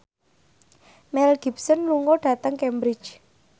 Mel Gibson lunga dhateng Cambridge